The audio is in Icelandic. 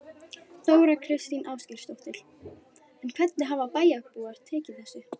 Þóra Kristín Ásgeirsdóttir: En hvernig hafa bæjarbúar tekið þessu?